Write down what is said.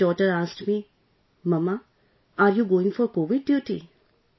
When my daughter asked me, "Mamma you are going for Covid duty